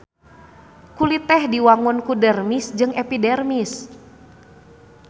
Kulit teh diwangun ku dermis jeung epidermis.